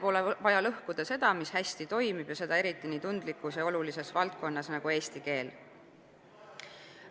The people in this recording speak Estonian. Pole vaja lõhkuda seda, mis hästi toimib, seda eriti nii tundlikus ja olulises valdkonnas nagu eesti keel.